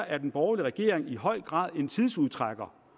at den borgerlige regering i høj grad er en tidsudtrækker